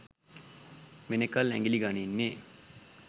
වෙනකල් ඇඟිලි ගනින්නේ.